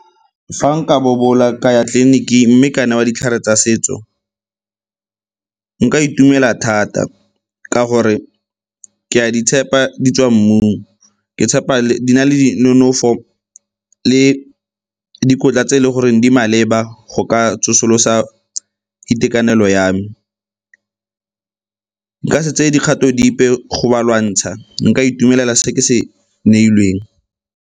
Fa nka bobola ka ya tleliniking mme ka newa ditlhare tsa setso, nka itumela thata ka gore ke a di tshepa di tswa mmung, ke tshepa di na le di nonofo le dikotla tse e leng goreng di maleba go ka tsosolosa itekanelo ya me. Nka se tseye dikgato dipe go ba lwantsha, nka itumelela se ke se neilweng.